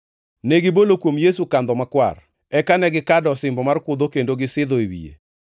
Negibolo kuom Yesu kandho makwar, eka ne gikado osimbo mar kudho kendo gisidho e wiye.